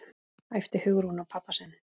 æpti Hugrún á pabba sinn.